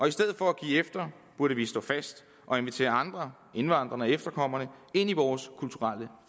i stedet for at give efter burde vi stå fast og invitere andre indvandrerne og efterkommerne ind i vores kulturelle